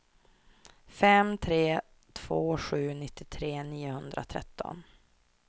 fem tre två sju nittiotre niohundratretton